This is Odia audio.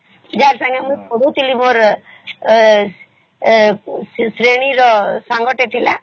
ଜର ସଂଗେ ମୁଇ ପଢ଼ୁଥିଲି ମୋର trainee ର ସାଙ୍ଗ ଟେ ଥିଲା